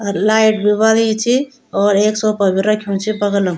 अर light भी बलिं च और एक सोफा भी रख्युं च बगलम।